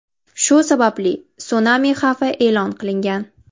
Shu sababli sunami xavfi e’lon qilingan.